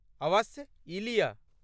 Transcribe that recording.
अवश्य, ई लिअ।